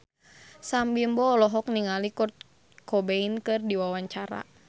Sam Bimbo olohok ningali Kurt Cobain keur diwawancara